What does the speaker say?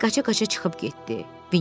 Piklet qaça-qaça çıxıb getdi.